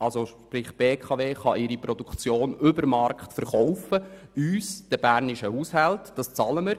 Das heisst, die BKW kann uns, den bernischen Haushalten, ihre Produktion über dem Marktwert verkaufen, und wir bezahlen dies.